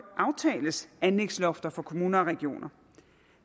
aftales anlægslofter for kommuner og regioner